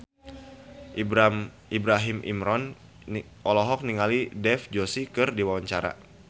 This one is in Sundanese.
Ibrahim Imran olohok ningali Dev Joshi keur diwawancara